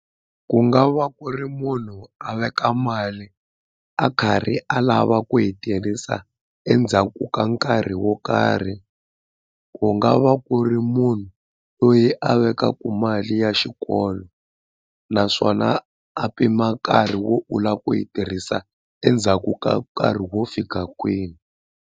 Ku nga va ku ri munhu a veka mali a karhi a lava ku yi tirhisa endzhaku ka nkarhi wo karhi ku nga va ku ri munhu loyi a vekaka mali ya xikolo naswona a pima nkarhi wo u lava ku yi tirhisa endzhaku ka nkarhi wo fika kwini.